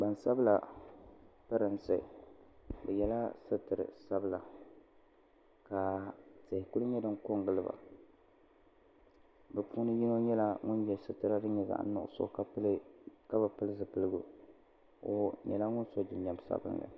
Gbansabla pirinsi bɛ yela sitiri sabla ka tihi kuli nyɛ din kongili ba bɛ puuni yino nyɛla ŋun ye sitira din nyɛ zaɣa nuɣuso ka bi pili zipiligu o nyɛla ŋun so jinjiɛm sabinli.